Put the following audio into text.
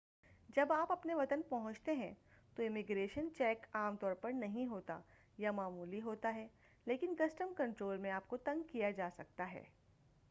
جب آپ اپنے وطن پہنچتے ہیں تو امیگریشن چیک عام طور پر نہیں ہوتا یا معمولی ہوتا ہے لیکن کسٹم کنٹرول میں آپ کو تنگ کیا جا سکتا ہے